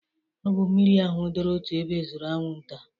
Ọ bụ mmiri ahụ doro otu ebe zụru anwụnta